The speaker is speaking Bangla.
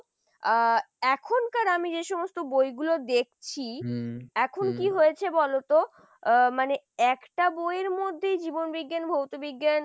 আহ এখনকার আমি যে সমস্ত বইগুলো দেখছি এখন কি হয়েছে বলতো? আহ মানে একটা বইয়ের মধ্যেই জীবনবিজ্ঞান ভৌত বিজ্ঞান,